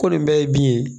Ko nin bɛɛ ye bin ye